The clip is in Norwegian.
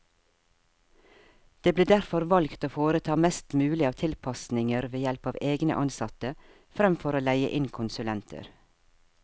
Det ble derfor valgt å foreta mest mulig av tilpasninger ved help av egne ansatte, fremfor å leie inn konsulenter.